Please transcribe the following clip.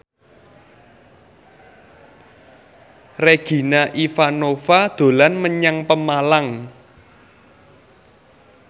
Regina Ivanova dolan menyang Pemalang